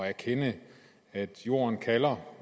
erkende at jorden kalder